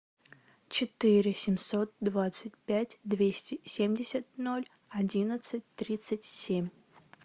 четыре семьсот двадцать пять двести семьдесят ноль одиннадцать тридцать семь